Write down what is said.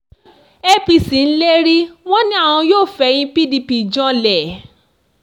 apc ń lérí wọn ni àwọn yóò fẹ̀yìn pdp janlẹ̀